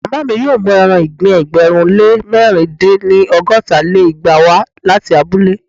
màmá mi yóò mú eran ìgbín ẹgbẹ̀rún lé mẹ̀rin dín ní- ọgọ́ta lé igba wá láti abúlé.